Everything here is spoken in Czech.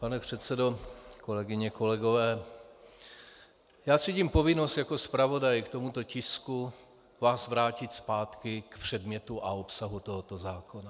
Pane předsedo, kolegyně, kolegové, já cítím povinnost jako zpravodaj k tomuto tisku vás vrátit zpátky k předmětu a obsahu tohoto zákona.